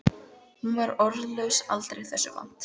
Hún var orðlaus aldrei þessu vant.